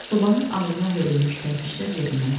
Sobanın ağzına hörülmüş kərpiçlər yerindən oynayıb.